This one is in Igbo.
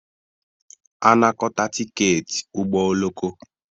Anakọta tiketi ụgbọ oloko